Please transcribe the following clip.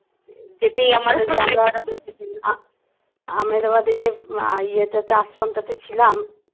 আহমেদাবাদে যে আহ ইয়েতে তে আশ্রমটা তে ছিলাম